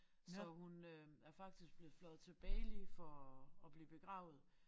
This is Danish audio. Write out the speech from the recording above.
Så hun øh er faktisk blevet fløjet til Bali for at blive begravet